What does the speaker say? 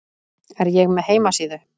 Er ég með heimasíðu?